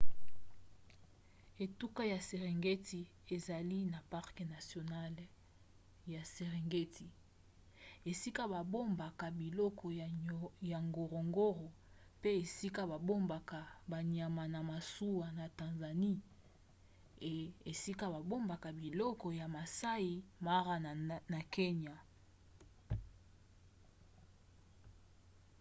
etuka ya serengeti ezali na parke nationale ya serengeti esika babongaka biloko ya ngorongoro pe esika babombaka banyama ya masuwa na tanzanie et esika babombaka biloko ya maasai mara na kenya